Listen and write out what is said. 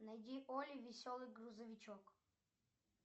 найди олли веселый грузовичок